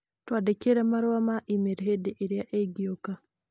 Twandĩkĩre marũa ma e-mail hĩndĩ ĩrĩa ĩngĩũka